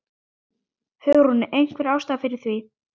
Hugrún: Einhver ástæða fyrir því?